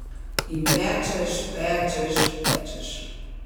In pečeš, pečeš, pečeš ...